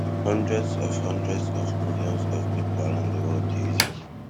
hundreds of hundreds of millions of pipo around di world dey use am